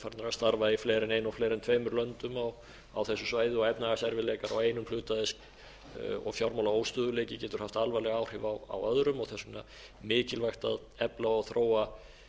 starfa í fleiri en einu og fleiri en tveimur löndum á þessu svæði og efnahagserfiðleikar á einum hluta þess og fjármálaóstöðugleiki getur haft alvarleg áhrif á öðrum og þess vegna mikilvægt að efla og þróa